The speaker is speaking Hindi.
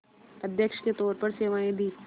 अध्यक्ष के तौर पर सेवाएं दीं